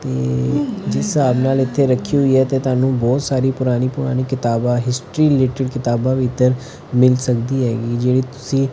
ਜਿਸ ਹਿਸਾਬ ਨਾਲ ਇਥੇ ਰੱਖੀ ਹੋਈ ਹ ਤੇ ਤੁਹਾਨੂੰ ਬਹੁਤ ਸਾਰੀ ਪੁਰਾਣੀ ਪੁਰਾਣੀ ਕਿਤਾਬਾਂ ਹਿਸਟਰੀ ਰਿਲੇਟਡ ਕਿਤਾਬਾਂ ਵੀ ਇਧਰ ਮਿਲ ਸਕਦੀ ਹੈਗੀ ਜਿਹੜੀ ਤੁਸੀਂ--